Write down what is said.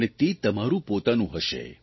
અને તે તમારૂં પોતાનું હશે